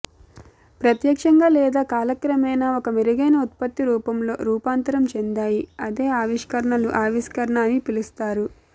ప్రత్యక్షంగా లేదా కాలక్రమేణా ఒక మెరుగైన ఉత్పత్తి రూపంలో రూపాంతరం చెందాయి అదే ఆవిష్కరణలు ఆవిష్కరణ అని పిలుస్తారు